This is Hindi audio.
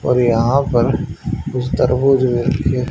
और यहां पर कुछ तरबूज भी रखी--